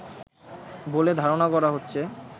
বলে ধারণা করা হচ্ছে